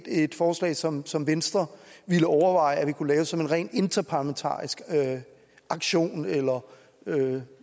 et forslag som som venstre ville overveje vi kunne lave som en rent interparlamentarisk aktion eller hvad